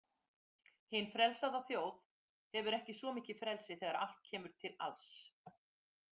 Hin „frelsaða“ þjóð hefur ekki svo mikið frelsi þegar allt kemur til alls.